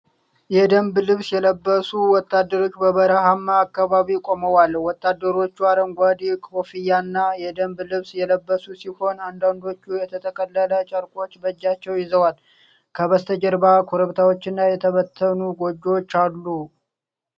የደንብ ልብስ የለበሱ ወታደሮች በበረሃማ አካባቢ ቆመዋል። ወታደሮቹ አረንጓዴ ኮፍያና የደንብ ልብስ የለበሱ ሲሆን፣ አንዳንዶቹ የተጠቀለሉ ጨርቆች በእጃቸው ይዘዋል። ከበስተጀርባ ኮረብታዎችና የተበተኑ ጎጆዎች አሉ።